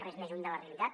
res més lluny de la realitat